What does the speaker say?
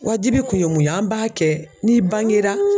Wajibi kun ye mun ye an b'a kɛ n'i bangera